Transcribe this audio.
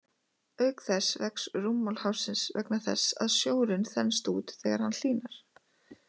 Auk þess vex rúmmál hafsins vegna þess að sjórinn þenst út þegar hann hlýnar.